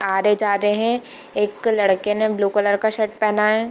आ रहेजा रहे हैं | एक लड़के ने ब्लू कलर का शर्ट पेहना है ।